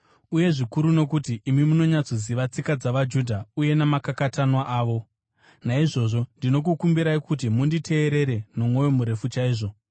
uye zvikuru nokuti imi munonyatsoziva tsika dzavaJudha uye namakakatanwa avo. Naizvozvo ndinokukumbirai kuti munditeerere nomwoyo murefu chaizvo.